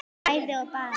bæði og bara